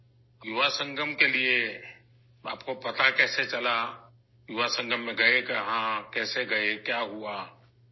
آپ کو یووا سنگم کے بارے میں کیسے پتہ چلا، آپ یووا سنگم کہاں گئے، کیسے گئے، کیا ہوا؟